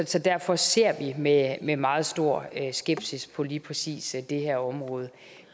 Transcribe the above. så derfor ser vi med med meget stor skepsis på lige præcis det her område